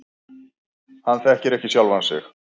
Hann þekki ekki sjálfan sig.